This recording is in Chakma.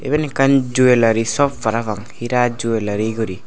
eben ekkan jwelary shop parapang heera jwelary guri.